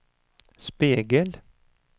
spegel